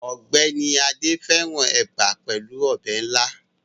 Ọgbẹni Ade fẹrãn eba pelu ọbẹ ila